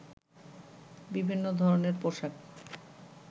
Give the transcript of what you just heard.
বিভিন্ন ধরনের পোশাক